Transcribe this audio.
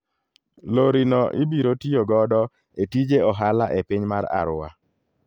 Lori no ibiro tiyo godo e tije ohala e piny mar Arua.